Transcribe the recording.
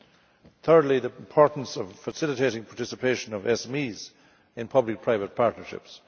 Thirdly, the importance of facilitating the participation of SMEs in public-private partnerships.